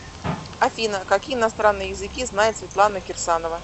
афина какие иностранные языки знает светлана кирсанова